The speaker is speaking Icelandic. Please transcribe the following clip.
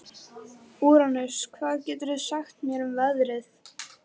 Úranus, hvað geturðu sagt mér um veðrið?